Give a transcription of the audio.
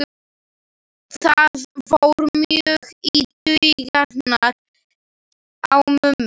Það fór mjög í taugarnar á mömmu.